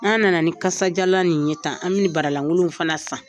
N'an nana ni kasajalan nin ye tan , an bi bara lankolonw fana san.